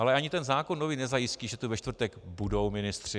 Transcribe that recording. Ale ani ten zákon nový nezajistí, že tu ve čtvrtek budou ministři.